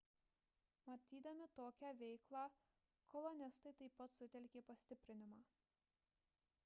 matydami tokią veiklą kolonistai taip pat sutelkė pastiprinimą